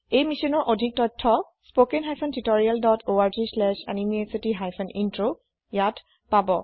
এই মিছ্যনৰ অধিক তথ্য spoken hyphen tutorial dot org slash এনএমইআইচিত হাইফেন Introত আছে